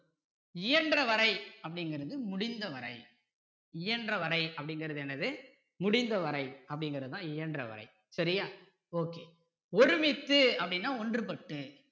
இயன்ற வரை அப்படிங்கிறது முடிந்த வரை இயன்றவரை அப்படிங்கிறது என்னது முடிந்த வரை அப்படிங்கிறது தான் இயன்றவரை சரியா okay ஒருமித்து அப்படின்னா ஒன்று பட்டு